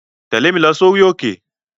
Tẹ̀lé mi lọ sórí òkè!